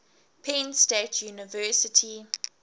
penn state university